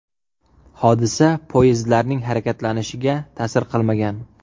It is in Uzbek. Hodisa poyezdlarning harakatlanishiga ta’sir qilmagan.